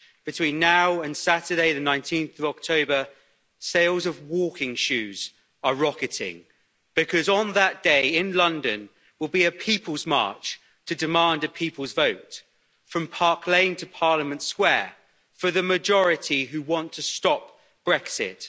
Between now and Saturday, 19 October 2019, sales of walking shoes are rocketing, because on that day in London will be a people's march to demand a people's vote from Park Lane to Parliament Square for the majority who want to stop Brexit.